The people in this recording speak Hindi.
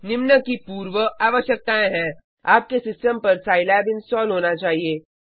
निम्न की पूर्व आवश्यकताएं हैं आपके सिस्टम पर साईलैब इंस्टॉल होना चाहिए